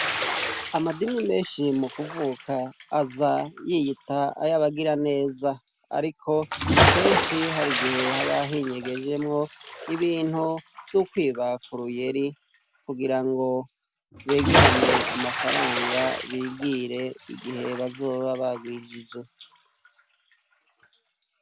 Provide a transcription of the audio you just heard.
Amadini menshi mu kuvuka aza yiyita ayo abagira neza, ariko kenshi hari igihe habahinyegejemwo ibintu vy'ukwibakuru yeri kugira ngo begeranye amafaranga bigire igihe bazoba barwijije .